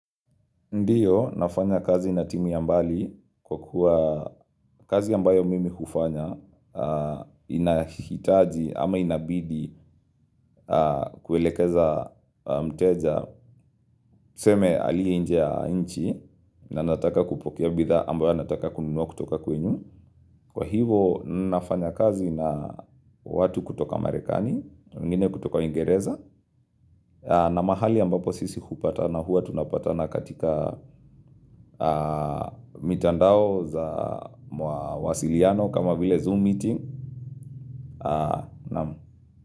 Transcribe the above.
Ndiyo, nafanya kazi na timu ya mbali kwa kuwa kazi ambayo mimi hufanya, inahitaji ama inabidi kuelekeza mteja, tuseme alie inje ya inchi, na nataka kupokea bitha ambayo anataka kununua kutoka kwenyu. Kwa hivo, nafanya kazi na watu kutoka Marekani, wengine kutoka uingereza, na mahali ambapo sisi hupata na huwa tunapatana katika mitandao za mawa wasiliano kama vile zoom meeting. Namu.